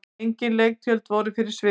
Engin leiktjöld voru fyrir sviðinu.